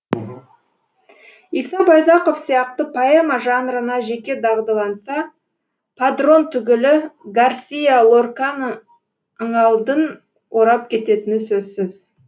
иса байзақов сияқты поэма жанрына жеке дағдыланса падрон түгілі гарсиа лорканыңалдын орап кететіні сөзсіз